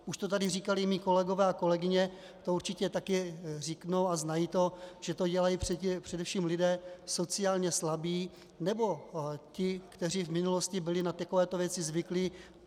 Už to tady říkali mí kolegové, a kolegyně to určitě taky řeknou a znají to, že to dělají především lidé sociálně slabí nebo ti, kteří v minulosti byli na takovéto věci zvyklí.